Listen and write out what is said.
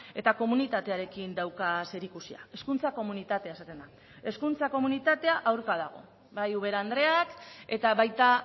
eta komunitatearekin dauka zerikusia hezkuntza komunitatea esaten da hezkuntza komunitatea aurka dago bai ubera andreak eta baita